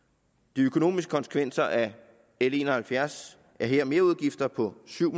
de økonomiske konsekvenser af l en og halvfjerds er her merudgifter på syv